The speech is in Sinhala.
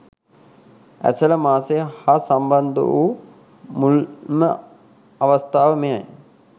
ඇසළ මාසය හා සම්බන්ධ වූ මුල්ම අවස්ථාව මෙයයි.